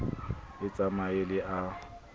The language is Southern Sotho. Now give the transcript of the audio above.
a tsamaye le a e